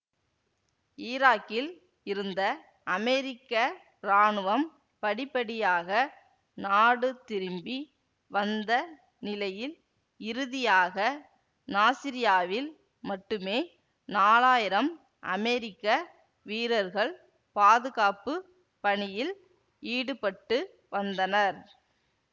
ஈராக்கில் இருந்த அமெரிக்க ராணுவம் படிப்படியாக நாடு திரும்பி வந்த நிலையில் இறுதியாக நாசிரியாவில் மட்டுமே நாலாயிரம் அமெரிக்க வீரர்கள் பாதுகாப்பு பணியில் ஈடுபட்டு வந்தனர்